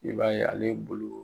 I b'a ye ale bolo